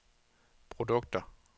produkter